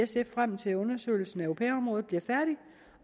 ser frem til at undersøgelsen af au pair området bliver færdig